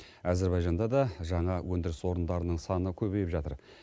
әзербайжанда да жаңа өндіріс орындарының саны көбейіп жатыр